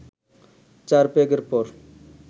চার পেগের পর